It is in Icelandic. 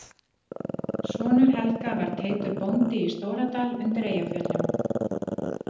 Sonur Helga var Teitur bóndi í Stóradal undir Eyjafjöllum.